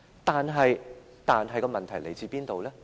但是，問題來自哪裏呢？